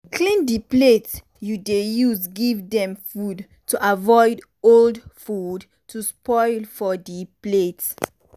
clean di plate you dey use give dem food to avoid old food to spoil for di plate.